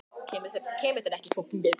Sævaldur, hvernig er veðrið á morgun?